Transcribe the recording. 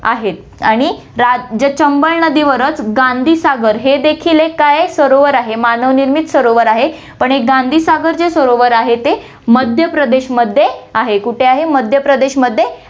आहे आणि रा~ जे चंबळ नदीवरच गांधी सागर हे देखील एक काय आहे सरोवर आहे, मानव निर्मित सरोवर आहे, पण हे गांधी सागर जे सरोवर आहे ते मध्यप्रदेशमध्ये आहे, कुठे आहे, मध्यप्रदेशमध्ये